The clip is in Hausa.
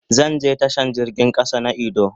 Zan je tashan jirgin kasa na idu.